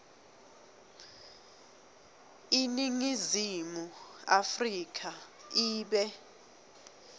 iningizimu afrika ibe